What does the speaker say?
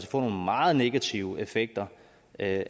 få nogle meget negative effekter af